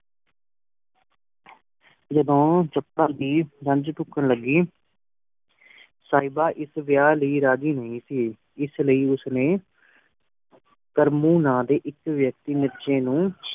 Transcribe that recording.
ਜਦੋ ਦੀ ਜੰਜ ਢੁਕਣ ਲਗੀ ਸਾਹਿਬਾਂ ਇਸ ਵਿਆਹ ਲਈ ਰਾਜੀ ਨਹੀਂ ਸੀ ਇਸ ਲਈ ਉਸ ਨੇ ਕਰਮੁ ਨਾਂ ਦੇ ਇਕ ਵਿਅਕਤੀ ਨੂੰ